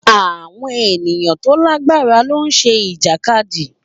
Àwọn ènìyàn tó lágbára ló ń ṣe Ìjàkadì